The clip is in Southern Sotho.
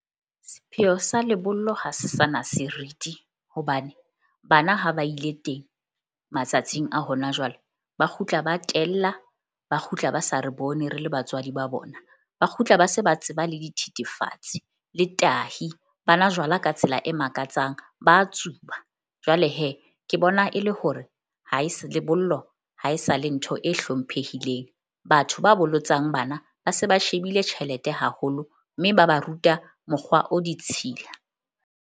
Sepheo sa lebollo ha se sana seriti hobane bana ha ba ile teng matsatsing a hona jwale. Ba kgutla ba tella ba kgutla ba sa re bone re le batswadi ba bona. Ba kgutla ba se ba tseba le dithethefatsi le tahi ba nwa jwala ka tsela e makatsang. Ba tsuba jwale ke bona e le hore ha e se lebollo haesale ntho e hlomphehileng. Batho ba bolotsang bana ba se ba shebile tjhelete haholo. Mme ba ba ruta mokgwa o ditshila.